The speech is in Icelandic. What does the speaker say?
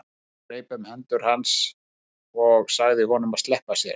Sævar greip um hendur hans og sagði honum að sleppa sér.